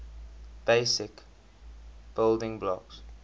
basic building blocks